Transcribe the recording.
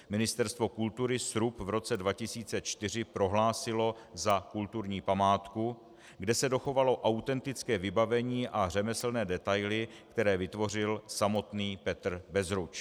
Ministerstvo kultury srub v roce 2004 prohlásilo za kulturní památku, kde se dochovalo autentické vybavení a řemeslné detaily, které vytvořil samotný Petr Bezruč.